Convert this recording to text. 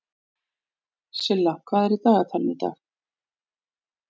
Silla, hvað er í dagatalinu í dag?